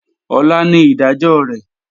Ọ̀la ni ìdájọ́ rẹ̀